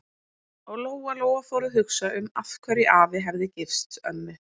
Og Lóa-Lóa fór að hugsa um af hverju afi hefði gifst ömmu.